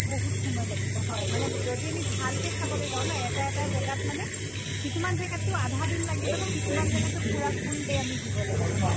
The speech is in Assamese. বহুত সময় লাগিব হয় যদি আমি ভালকে চাবলে যাওঁ ন এটা এটা জেগাত মানে কিছুমান জেগাত্টো আধা দিন লাগি যাব, কিছুমান জেগাত্টো পুৰা full day আমি দিব লাগিব।